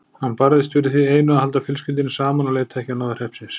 Hann barðist fyrir því einu að halda fjölskyldunni saman og leita ekki á náðir hreppsins.